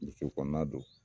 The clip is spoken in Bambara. Misiri kɔnɔna don